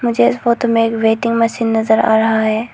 मुझे इस फोटो में एक वेटिंग मशीन नजर आ रहा है।